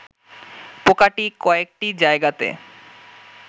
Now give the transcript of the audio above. পোকাটি কয়েকটি জায়গাতে